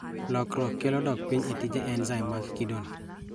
Lokruok kelo dok piny e tije enzaim mag kido no